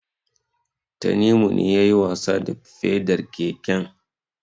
Tanimu ne yayi wasa da pedar keken.